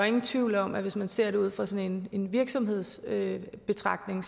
ingen tvivl om at hvis man ser det ud fra sådan en virksomhedsbetragtning